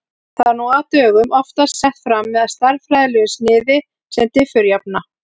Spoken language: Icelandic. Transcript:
Það er nú á dögum oftast sett fram með stærðfræðilegu sniði sem diffurjafna.